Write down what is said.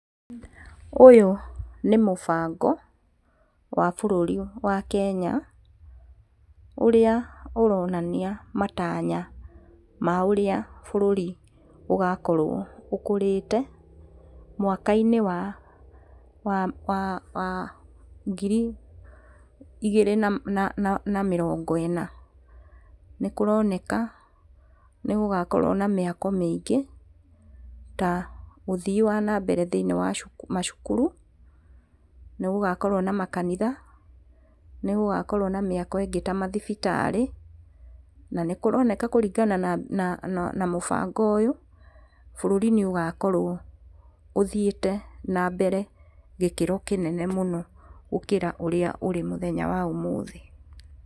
Ũyũ nĩ mũbango wa bũrũri wa Kenya ũrĩa ũronania matanya ma ũrĩa bũrũri ũgakorwo ũkũrĩte mwaka-inĩ wa wa wa wa ngiri igĩrĩ na na na mĩrongo ĩjna. Nĩkũroneka nĩgũgakorwo na mĩako mĩingĩ, ta ũthii wa nambere thĩiniĩ wa macukuru. Nĩgũgakorwo na makanitha, nĩgũgakorwo na mĩako ĩngĩ ta mathibitarĩ na nĩkũronekana kũringana na na na mũbango ũyũ bũrũri nĩũgakorwo ũthiĩte na mbere gĩkĩro kĩnene mũno gũkĩra ũrĩa ũrĩ mũthessnya wa ũmũthĩ.